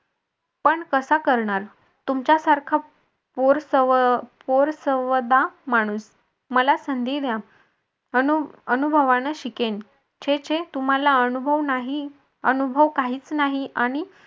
पण कसा करणार तुमच्यासारखा माणूस मला संधी द्या अनु अनुभवाने शिकेल छे छे तुम्हाला अनुभव नाही अनुभव काहीच नाही आणि